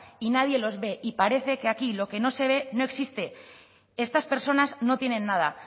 y nadie los ve y parece que aquí lo que no se ve no existe estas personas no tienen nada